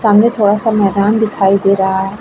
सामने थोड़ा सा मैदान दिखाई दे रहा है।